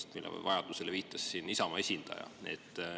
Nende keelustamise vajalikkusele viitas siin Isamaa esindaja.